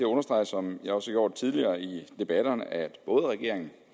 understrege som jeg også har gjort tidligere i debatterne at både regeringen